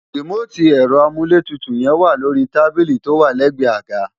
rìmóòtì ẹ̀rọ amúlétutù yẹn wà lórí tábílì tó wà lẹ́gbẹ̀ẹ́ àga